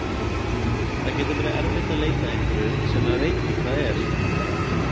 Það getur verið erfitt að leita að einhverju sem maður veit ekki hvað er!